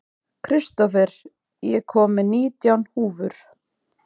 Kristófer, ég kom með nítján húfur!